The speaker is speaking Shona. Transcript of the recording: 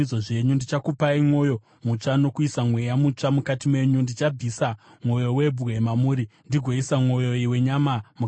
Ndichakupai mwoyo mutsva nokuisa mweya mutsva mukati menyu, ndichabvisa mwoyo webwe mamuri ndigoisa mwoyo wenyama mukati menyu.